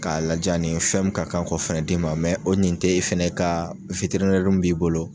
K'a ladiy'a ni fɛn min ka kan k'o fɛnɛ d'i ma o nin t'e fɛnɛ ka min b'i bolo